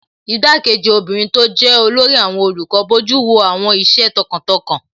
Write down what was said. Igbá-kejì obìnrin tó jẹ́ olórí àwọn olùkọ́ bojú wo àwọn iṣẹ́ tọkàntọkàn